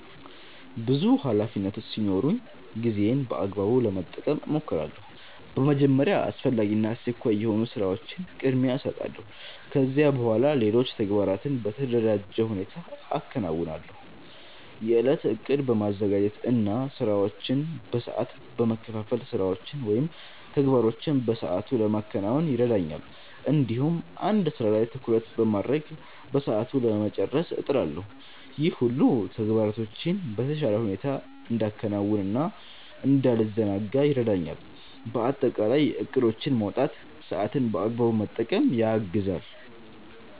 ብዙ ኃላፊነቶች ሲኖሩኝ ጊዜዬን በአግባቡ ለመጠቀም እሞክራለሁ። በመጀመሪያ አስፈላጊ እና አስቸኳይ የሆኑ ስራዎችን ቅድሚያ እሰጣለሁ። ከዚያ በኋላ ሌሎች ተግባራትን በተደራጀ ሁኔታ አከናውናለሁ። የእለት እቅድ በማዘጋጀት እና ስራዎችን በሰዓት በመከፋፈል ስራዎችን ወይም ተግባሮችን በሰአቱ ለማከናወን ይረዳኛል። እንዲሁም አንድ ስራ ላይ ትኩረት በማድረግ በሰዓቱ ለመጨረስ እጥራለሁ። ይህ ሁሉ ተግባራቶቼን በተሻለ ሁኔታ እንዳከናውን እና እንዳልዘናጋ ይረዳኛል። በአጠቃላይ እቅዶችን ማውጣት ሰአትን በአግባቡ ለመጠቀም ያግዛል።